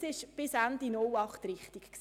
Das war bis Ende 2008 richtig.